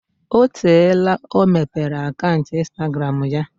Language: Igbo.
O teela ọ mepere akaụntụ instagramụ ya?